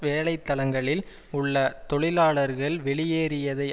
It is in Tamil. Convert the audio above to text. வேலை தலங்களில் உள்ள தொழிலாளர்கள் வெளியேறியதை